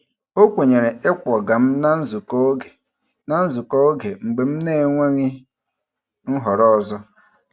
O kwenyere ịkwọga m na nzukọ oge na nzukọ oge mgbe m na-enweghị nhọrọ ọzọ.